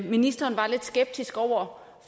ministeren var lidt skeptisk over